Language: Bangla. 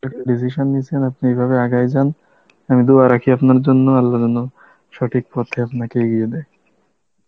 decision নিসেন আপনি, এই ভাবে আগায়ে যান, আমি Hindi রাখি আপনার জন্য আল্লাহ যেন সঠিক পথে আপনাকে এগিয়ে দেয়.